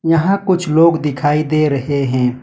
यहां कुछ लोग दिखाई दे रहे हैं।